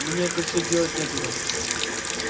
мне это все девать некуда